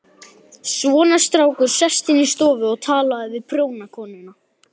Svona, strákur, sestu inn í stofu og talaðu við prjónakonuna.